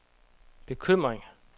bekymring